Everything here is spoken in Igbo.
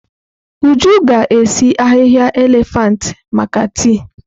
Uju ga-esi ahihia elefantị maka tii.